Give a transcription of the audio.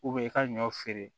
i ka ɲɔ feere